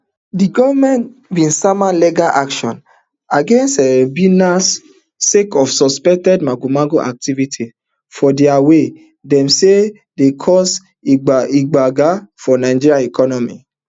di goment bin sama legal action against um binance sake of suspected magomago activity for dia wey dem say dey cause gbege for nigeria economy